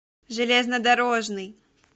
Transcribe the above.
железнодорожный